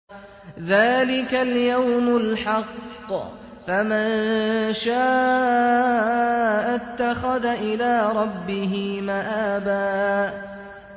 ذَٰلِكَ الْيَوْمُ الْحَقُّ ۖ فَمَن شَاءَ اتَّخَذَ إِلَىٰ رَبِّهِ مَآبًا